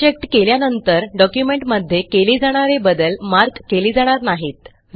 unchecked केल्यानंतर डॉक्युमेंटमध्ये केले जाणारे बदल मार्क केले जाणार नाहीत